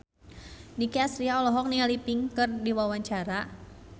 Nicky Astria olohok ningali Pink keur diwawancara